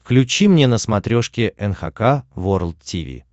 включи мне на смотрешке эн эйч кей волд ти ви